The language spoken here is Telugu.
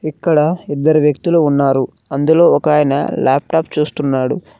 ఇక్కడ ఇద్దరు వ్యక్తులు ఉన్నారు అందులో ఒక ఆయన లాప్టాప్ చూస్తున్నారు.